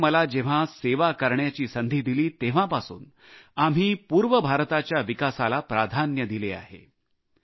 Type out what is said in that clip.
देशाने मला जेव्हा सेवा करण्याची संधी दिली तेव्हापासून आम्ही पूर्व भारताच्या विकासाला प्राधान्य दिले आहे